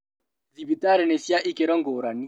Thibitarĩ nĩ cia ikĩro ngũrani